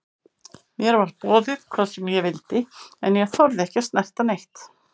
Mér var boðið hvað sem ég vildi en ég þorði ekki að snerta neitt.